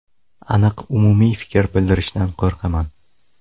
Aniq umumiy fikr bildirishdan qo‘rqaman.